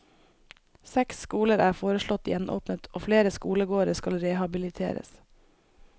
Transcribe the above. Seks skoler er foreslått gjenåpnet og flere skolegårder skal rehabiliteres.